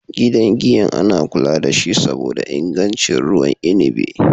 Gidan giyan ana kula dashi saboda ingancin ruwan inabi.